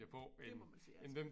Det må man sige ja til